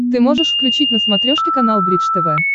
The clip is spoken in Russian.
ты можешь включить на смотрешке канал бридж тв